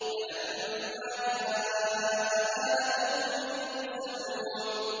فَلَمَّا جَاءَ آلَ لُوطٍ الْمُرْسَلُونَ